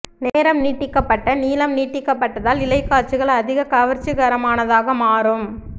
நேரம் நீட்டிக்கப்பட்ட நீளம் நீட்டிக்கப்பட்டதால் இலை காட்சிகள் அதிக கவர்ச்சிகரமானதாக மாறும்